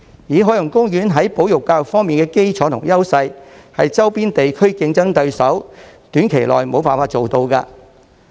以海洋公園在保育教育方面的基礎及優勢，是周邊地區的競爭對手短期內無法做到的。